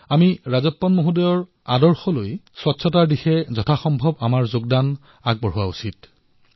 আমিও ৰাজপ্পনজীৰ পৰা অনুপ্ৰেৰিত হৈ স্বচ্ছতাৰ বাবে যতদূৰ সম্ভৱ অৱদান আগবঢ়াব লাগে